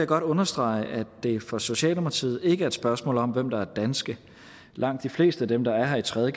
godt understrege at det for socialdemokratiet ikke er et spørgsmål om hvem der er danske langt de fleste af dem der er her i tredje